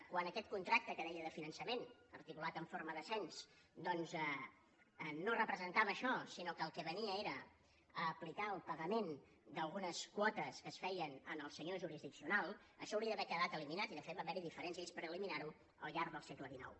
quan aquest contracte que deia de finançament articulat en forma de cens doncs no representava això sinó que el que venia era a aplicar el pagament d’algunes quotes que es feien al senyor jurisdiccional això hauria d’haver quedat eliminat i de fet va haver hi diferents lleis per eliminar ho al llarg del segle xix